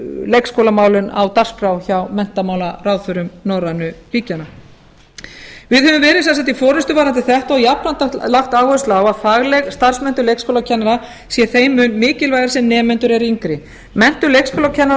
leikskólamálin á dagskrá hjá menntamálaráðherrum norrænu ríkjanna við höfum verið í forustu varðandi þetta og jafnframt lagt áherslu á að fagleg starfsmenntun leikskólakennara sé þeim mun mikilvægari sem nemendur eru yngri menntun leikskólakennara